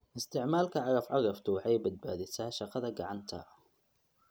Isticmaalka cagaf-cagaftu waxay badbaadisaa shaqada gacanta.